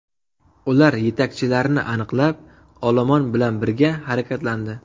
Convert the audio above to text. Ular yetakchilarni aniqlab, olomon bilan birga harakatlandi.